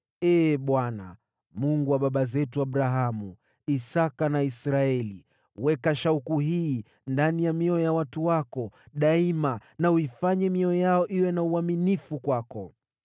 Ee Bwana , Mungu wa baba zetu Abrahamu, Isaki na Israeli, weka shauku hii ndani ya mioyo ya watu wako daima na uifanye mioyo yao iwe na uaminifu kwako.